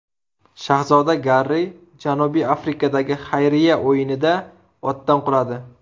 Shahzoda Garri Janubiy Afrikadagi xayriya o‘yinida otdan quladi.